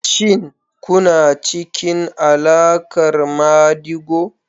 Shin kuna cikin alaƙar madigo?